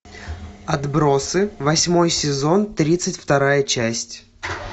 отбросы восьмой сезон тридцать вторая часть